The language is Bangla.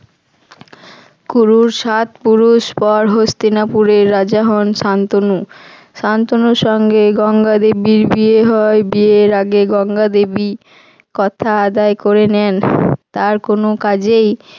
কুরুর সাত পুরুষ পর হস্তিনাপুরের রাজা হন শান্তনু। শান্তনুর সঙ্গে গঙ্গাদেবীর বিয়ে হয়। বিয়ের আগে গঙ্গা দেবী কথা আদায় করে নেন তার কোনো কাজেই